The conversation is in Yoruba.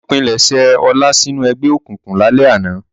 Wọ́n pilẹ̀sẹ̀ Ọlá sínú ẹgbẹ́ òkùnkùn lálẹ́ àná.